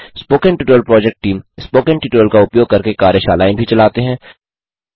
spoken tutorial project team spoken tutorial का उपयोग करके कार्यशालाएँ भी चलाते हैं